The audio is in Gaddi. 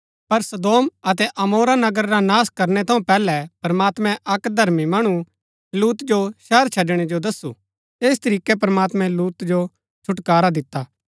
पर सदोम अतै अमोरा नगर रा नाश करनै थऊँ पैहलै प्रमात्मैं अक्क धर्मी मणु लूत जो शहर छड़णै जो दसु ऐस तरीकै प्रमात्मैं लूत जो छुटकारा दिता